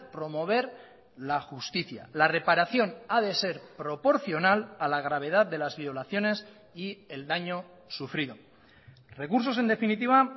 promover la justicia la reparación a de ser proporcional a la gravedad de las violaciones y el daño sufrido recursos en definitiva